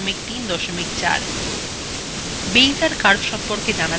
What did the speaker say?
বেইজের curves সম্পর্কে জানা যাক